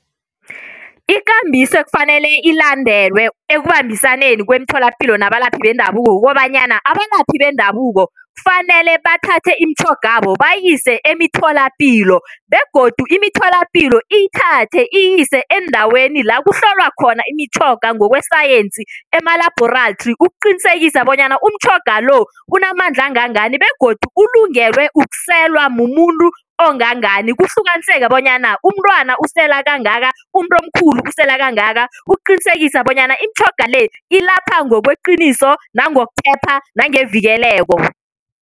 Ikambiso ekufanele ilandelwe ekubambisaneni kwemitholampilo nabalaphi bendabuko kukobanyana abalaphi bendabuko kufanele bathathe imitjhogabo bayise emitholapilo begodu imitholapilo iyithathe iyise eendaweni la kuhlolwa khona imitjhoga ngokwesayensi emalabhorathri ukuqinisekisa bonyana umtjhoga lo unamandla angangani begodu ulungelwe ukselwa mumuntu ongangani. Kuhlukaniseke bonyana umntwana usela kangaka umuntu omkhulu usela kangaka ukuqinisekisa bonyana imitjhoga le ilapha ngokweqiniso nangokuphepha nangevikeleko.